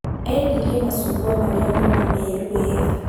Endilrie macungwa marĩa mauma meeru weega